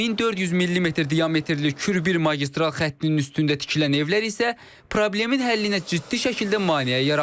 1400 millimetr diametrli kül bir magistral xəttin üstündə tikilən evlər isə problemin həllinə ciddi şəkildə maneə yaradır.